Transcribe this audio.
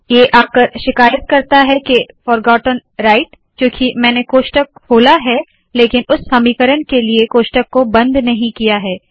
ये आकर शिकायत करता है के फोरगोटेन राइट क्यूंकि मैंने कोष्ठक खोला है लेकिन उस समीकरण के लिए कोष्ठक को बंद नहीं किया है